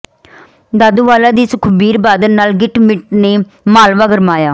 ਦਾਦੂਵਾਲ ਦੀ ਸੁਖਬੀਰ ਬਾਦਲ ਨਾਲ ਗਿੱਟ ਮਿੱਟ ਨੇ ਮਾਲਵਾ ਗਰਮਾਇਆ